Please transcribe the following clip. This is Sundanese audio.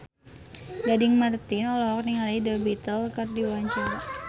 Gading Marten olohok ningali The Beatles keur diwawancara